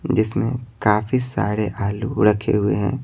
जिसमें काफी सारे आलू रखे हुए हैं।